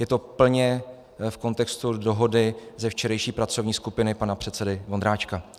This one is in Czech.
Je to plně v kontextu dohody ze včerejší pracovní skupiny pana předsedy Vondráčka.